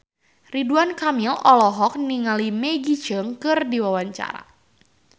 Ridwan Kamil olohok ningali Maggie Cheung keur diwawancara